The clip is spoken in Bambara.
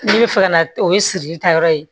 Ne bɛ fɛ ka na o ye sirili taayɔrɔ ye